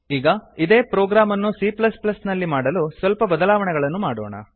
ಈಗ ಇದೇ ಪ್ರೊಗ್ರಾಮ್ ಅನ್ನು c ನಲ್ಲಿ ಮಾಡಲು ಸ್ವಲ್ಪ ಬದಲಾವಣೆಗಳನ್ನು ಮಾಡೋಣ